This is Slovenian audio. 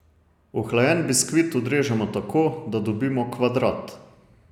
Ohlajen biskvit odrežemo tako, da dobimo kvadrat.